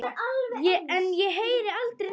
En ég heyri aldrei neitt.